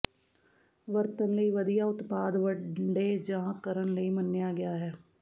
ਵਰਤਣ ਲਈ ਵਧੀਆ ਉਤਪਾਦ ਵੰਡੇ ਜਾ ਕਰਨ ਲਈ ਮੰਨਿਆ ਗਿਆ ਹੈ